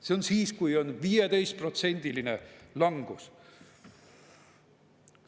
See on siis, kui on 15%‑line langus!